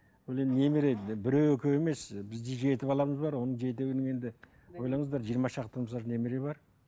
ол енді немере біреу екеу емес бізде жеті баламыз бар оның жетеуінің енді ойлаңыздар жиырма шақты мысалы үшін немере бар